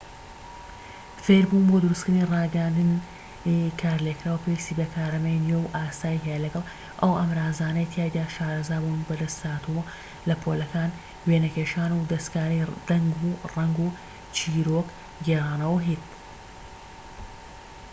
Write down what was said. فێربوون بۆ دروستکردنی ڕاگەیاندنی کارلێكکراو پێویستی بە کارامەیی نوێ و ئاسایی هەیە لەگەڵ ئەو ئامرازانەی تیایدا شارەزابوون بەدەستهاتووە لە پۆلەکانی وێنەکێشان و دەستکاری دەنگ و ڕەنگ و چیرۆک گێڕانەوە و هتد.